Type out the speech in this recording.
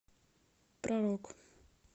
про рок